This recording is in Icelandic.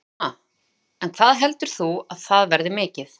Telma: En hvað heldur þú að það verði mikið?